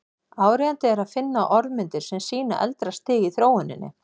Áríðandi er að finna orðmyndir sem sýna eldra stig í þróuninni.